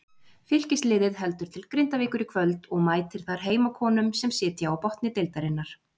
Fylkisliðið heldur til Grindavíkur í kvöld og mætir þar heimakonum sem sitja á botni deildarinnar.